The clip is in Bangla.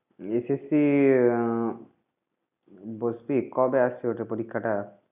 SSC আহ বসবি? কবে আসছে ওটার পরীক্ষাটা?